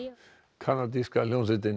kanadíska hljómsveitin